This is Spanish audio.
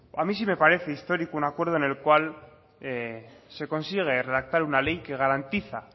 a mí sí me parece histórico un acuerdo el cual se consigue redactar una ley que garantiza